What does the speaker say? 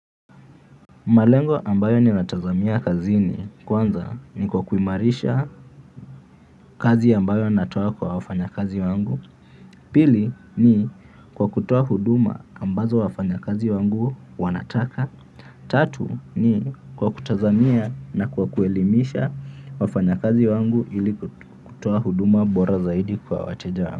Malengo ambayo ninatazamia kazini kwanza ni kwa kuimarisha kazi ambayo natoa kwa wafanya kazi wangu. Pili ni kwa kutoa huduma ambazo wafanyakazi wangu wanataka. Tatu ni kwa kutazami na kwa kuelimisha wafanyakazi wangu ili kutoa huduma bora zaidi kwa wateja.